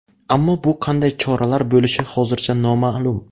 Ammo bu qanday choralar bo‘lishi hozircha noma’lum.